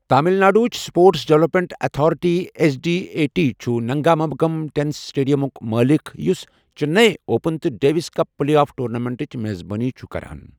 تامِل ناڈوٕچ sports development authority S D A T چھُ Nungambakkam tennis سٹیڈیمُک مٲلِک یوٚس چنئی اوپن تہٕ ڈیوس کپ پلے آف ٹورنامنٹٕچ میزبٲنی چھُ کران